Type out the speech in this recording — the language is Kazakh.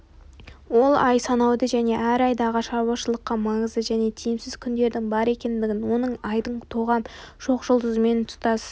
ол ай санауды және әр айдағы шаруашылыққа маңызды және тиімсіз күндердің бар екендігін оның айдың тоғам шоқ жұлдызымен тұстас